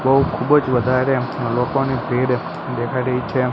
બોવ ખુબજ વધારે લોકોની ભીડ દેખાય રહી છે.